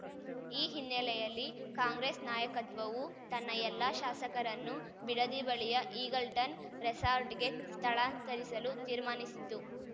ಈ ಹಿನ್ನೆಲೆಯಲ್ಲಿ ಕಾಂಗ್ರೆಸ್‌ ನಾಯಕತ್ವವು ತನ್ನ ಎಲ್ಲಾ ಶಾಸಕರನ್ನು ಬಿಡದಿ ಬಳಿಯ ಈಗಲ್‌ಟನ್‌ ರೆಸಾರ್ಟ್‌ಗೆ ಸ್ಥಳಾಂತರಿಸಲು ತೀರ್ಮಾನಿಸಿದ್ದು